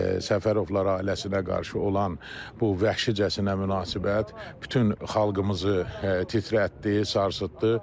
Səfərovlar ailəsinə qarşı olan bu vəhşicəsinə münasibət bütün xalqımızı titrətdi, sarsıtdı.